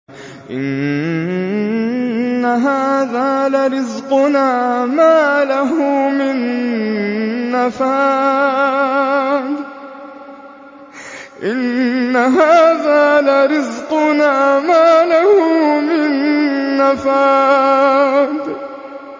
إِنَّ هَٰذَا لَرِزْقُنَا مَا لَهُ مِن نَّفَادٍ